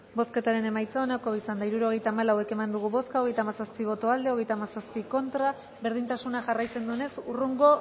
bozketaren emaitza onako izan da hirurogeita hamalau eman dugu bozka hogeita hamazazpi boto aldekoa treinta y siete contra berdintasuna jarraitzen duenez hurrengo